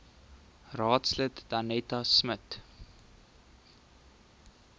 raadslid danetta smit